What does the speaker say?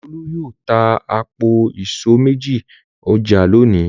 Olú yóò ta àpò ìṣó méjì ní ọjà lónìí.